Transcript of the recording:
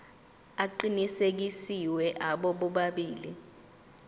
aqinisekisiwe abo bobabili